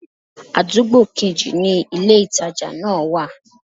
Àdúgbò kejì ni ilé-ìtàjà náà wa